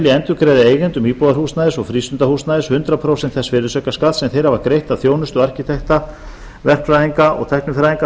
endurgreiða eigendum íbúðarhúsnæðis og frístundahúsnæðis hundrað prósent þess virðisaukaskatts sem þeir hafa greitt af þjónustu arkitekta verkfræðinga og tæknifræðinga